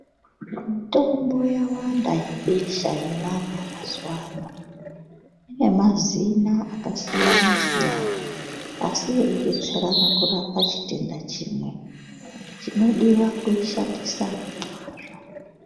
Mitombo yawanda yebesha yevana mazuva ano, inemazina akasiyana-siyana. Asi eibetserana kurapa chitenda chimwe, chinodiva kuishandisa ngemazvo.